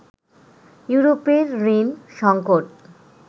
ইউরোপের ঋণ সংকট